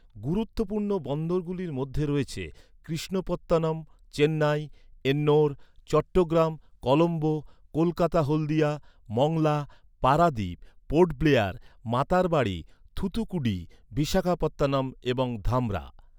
গুরুত্বপূর্ণ বন্দরগুলোর মধ্যে রয়েছে কৃষ্ণপত্তনম, চেন্নাই, এন্নোর, চট্টগ্রাম, কলম্বো, কলকাতা হলদিয়া, মংলা, পারাদ্বীপ, পোর্ট ব্লেয়ার, মাতারবাড়ি, থুথুকুডি, বিশাখাপত্তনম এবং ধামরা।